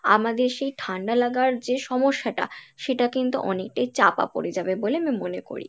আমাদের সেই ঠান্ডা লাগার যে সমস্যা টা সেটা কিন্তু অনেকটাই চাপা পরে যাবে বলে আমি মনে করি।